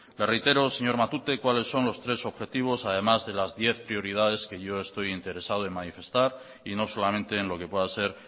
le reitero señor matute cuáles son los tres objetivos además de las diez prioridades que yo estoy interesado en manifestar y no solamente en lo que pueda ser